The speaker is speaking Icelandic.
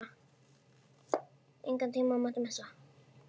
Engan tíma mátti missa.